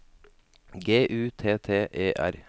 G U T T E R